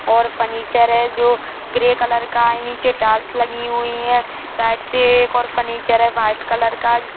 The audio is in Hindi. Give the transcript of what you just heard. और फर्नीचर है जो ग्रे कलर का है नीचे टाइल्स लगी हुई है साइड से एक और फर्नीचर है व्हाइट कलर का जिस --।